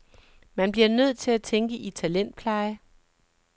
Man bliver nødt til at tænke i talentpleje.